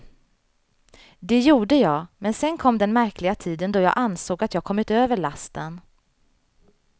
Det gjorde jag, men sen kom den märkliga tiden då jag ansåg att jag kommit över lasten.